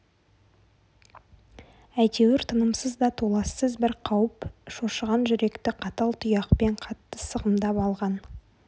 әйтеуір тынымсыз да толассыз бір қауіп шошыған жүректі қатал тұяқпен қатты сығымдап алған